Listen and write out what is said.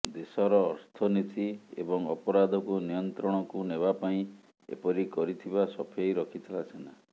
ଦେଶର ଅର୍ଥନୀତି ଏବଂ ଅପରାଧକୁ ନିୟନ୍ତ୍ରଣକୁ ନେବା ପାଇଁ ଏପରି କରିଥିବା ସଫେଇ ରଖିଥିଲା ସେନା